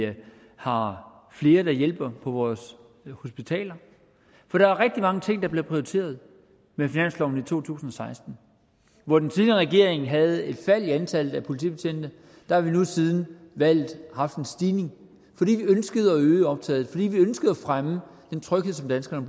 har flere der hjælper på vores hospitaler for der er rigtig mange ting der blev prioriteret med finansloven for to tusind og seksten hvor den tidligere regering havde et fald i antallet af politibetjente har vi nu siden valget haft en stigning fordi vi ønskede at øge optaget fordi vi ønskede at fremme den tryghed som danskerne